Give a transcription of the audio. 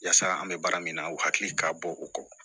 Yasa an bɛ baara min na u hakili ka bɔ u kɔ